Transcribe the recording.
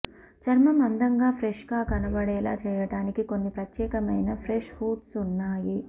చర్మం అందంగా ఫ్రెష్ గా కనబడేలా చేయడానికి కొన్ని ప్రత్యేకమైన ఫ్రెష్ ఫుడ్స్ ఉన్నాయి